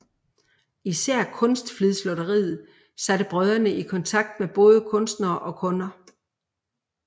Især Kunstflidslotteriet satte brødrene i kontakt med både kunstnere og kunder